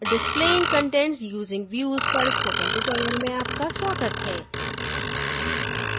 displaying contents using views पर spoken tutorial में आपका स्वागत है